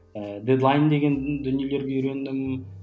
ііі дедлайн деген дүниелерге үйрендім